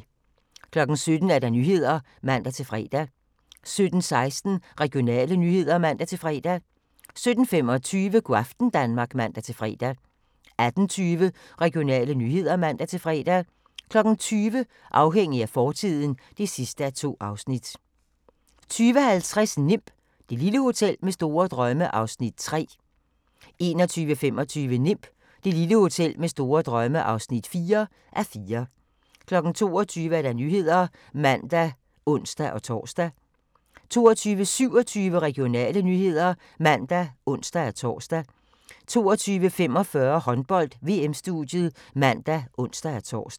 17:00: Nyhederne (man-fre) 17:16: Regionale nyheder (man-fre) 17:25: Go' aften Danmark (man-fre) 18:20: Regionale nyheder (man-fre) 20:00: Afhængig af fortiden (2:2) 20:50: Nimb - det lille hotel med store drømme (3:4) 21:25: Nimb - det lille hotel med store drømme (4:4) 22:00: Nyhederne (man og ons-tor) 22:27: Regionale nyheder (man og ons-tor) 22:45: Håndbold: VM-studiet (man og ons-tor)